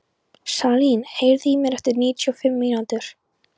Salín, heyrðu í mér eftir níutíu og fimm mínútur.